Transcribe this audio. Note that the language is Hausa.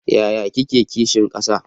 Yaya kike kishin kasa?